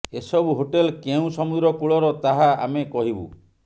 ଏସବୁ ହୋଟେଲ କେଉଁ ସମୁଦ୍ର କୂଳର ତାହା ଆମେ କହିବୁ